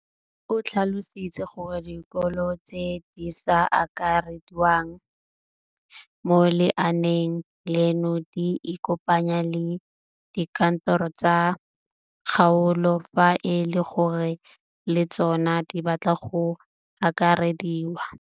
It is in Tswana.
O tlhalositse gore dikolo tse di sa akarediwang mo lenaaneng leno di ikopanye le dikantoro tsa kgaolo fa e le gore le tsona di batla go akarediwa.